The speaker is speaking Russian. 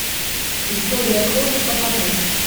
история крови покажи